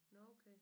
Nåh okay